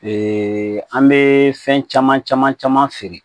Ee an bɛ fɛn caman caman caman feere